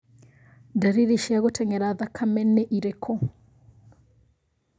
Ndariri cia gũtengera thakame nĩ irĩku